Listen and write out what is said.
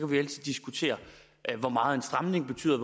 vi altid diskutere hvor meget en stramning betyder